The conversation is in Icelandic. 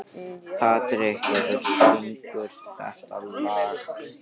Patrek, hver syngur þetta lag?